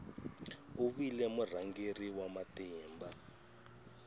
u vile murhangeri wa matimba